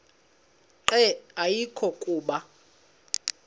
nqe ayekho kuba